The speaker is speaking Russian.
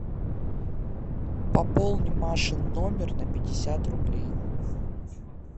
пополни машин номер на пятьдесят рублей